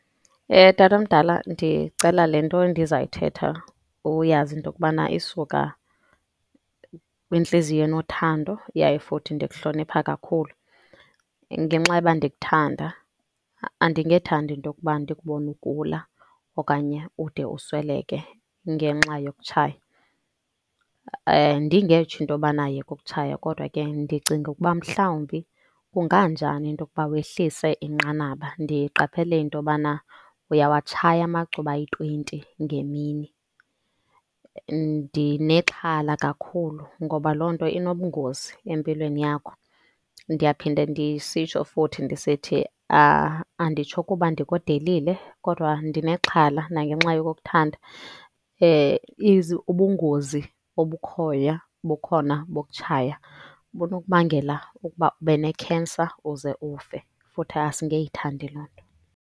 Eh. Tata omdala, ndicela le nto ndizayithetha uyazi into okubana isuka kwintliziyo enothando yaye futhi ndikuhlonipha kakhulu. Ngenxa yoba ndikuthanda andingethandi into okuba ndikubone ugula okanye ude usweleke ngenxa yokutshaya. Eh, ndingetsho into yobana yeka ukutshaya kodwa ke ndicinga ukuba mhlawumbi kunganjani into yokuba wehlise inqanaba. Ndiqaphele into yobana uyawatshaya amacuba ayi-twenty ngemini. Ndinexhala kakhulu ngoba loo nto inobungozi empilweni yakho. Ndiyaphinde ndisitsho futhi ndisithi anditsho kuba ndikudelile kodwa ndinexhala nangenxa yokukuthanda. Eh, ubungozi obukhoya obukhona bokutshaya bunokubangela ukuba ube ne-cancer uze ufe, futhi asingeyithandi loo nto.